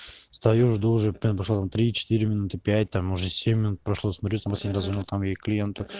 стою жду уже примерно прошло там три четыре минуты пять там уже семь минут прошло смотрю я там развернул клиента